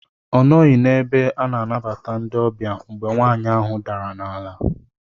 Ọ nọghị n'ebe ana anabata ndị ọbịa mgbe nwaanyị ahụ dara n'ala.